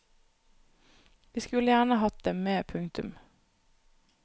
Vi skulle gjerne hatt dem med. punktum